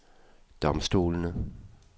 domstolene